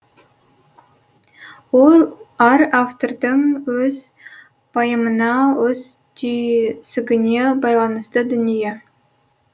ол әр автордың өз пайымына өз түйсігіне байланысты дүние